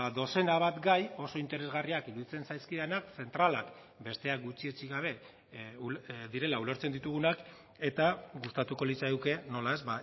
dozena bat gai oso interesgarriak iruditzen zaizkidanak zentralak besteak gutxietsi gabe direla ulertzen ditugunak eta gustatuko litzaiguke nola ez